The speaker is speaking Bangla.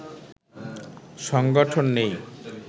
সংগঠন নেই